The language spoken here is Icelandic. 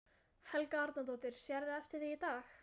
Helga Arnardóttir: Sérðu eftir því í dag?